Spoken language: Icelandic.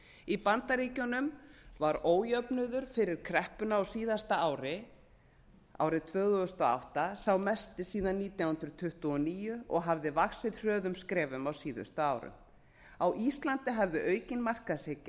í bandaríkjunum var ójöfnuður fyrir kreppuna á síðasta ári árinu tvö þúsund og átta sá mesti síðan nítján hundruð tuttugu og níu og hafði vaxið hröðum skrefum á síðustu árum á íslandi hafði aukin markaðshyggja